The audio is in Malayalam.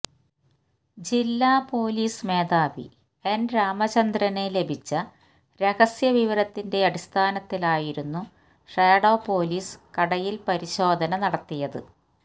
ജില്ലാ പൊലീസ് മേധാവി എൻ രാമചന്ദ്രന് ലഭിച്ച രഹസ്യവിവരത്തിന്റെ അടിസ്ഥാനത്തിലായിരുന്നു ഷാഡോ പോലീസ് കടയിൽ പരിശോധന നടത്തിയത്